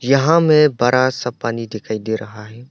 यहां मैं बड़ा सा पानी दिखाई दे रहा है।